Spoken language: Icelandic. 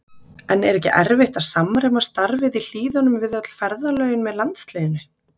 En er ekki erfitt að samræma starfið í Hlíðunum við öll ferðalögin með landsliðinu?